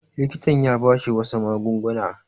Likitan ya ba shi wasu magunguna.